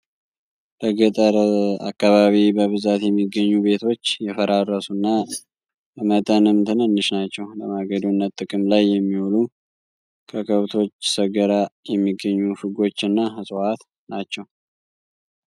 በገጠር አካባቢ በብዛት የሚገኙ ቤቶች የፈራረሱ እና በመጠንም ትንንሽ ናቸው። ለማገዶነት ጥቅም ላይ የሚውሉ ከከብቶች ሰገራ የሚገኙ ፍጎች እና እፅዋት ናቸው።